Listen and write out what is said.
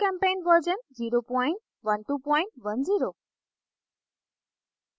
gchempaint version 01210